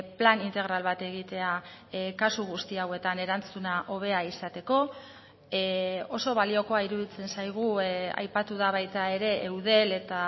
plan integral bat egitea kasu guzti hauetan erantzuna hobea izateko oso baliokoa iruditzen zaigu aipatu da baita ere eudel eta